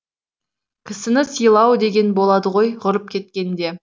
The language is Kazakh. кісіні сыйлау деген болады ғой құрып кеткенде